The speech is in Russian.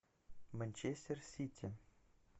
манчестер сити